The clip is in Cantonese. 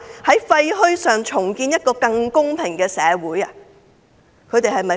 "在廢墟上重建一個更公平的社會"。